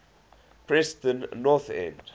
preston north end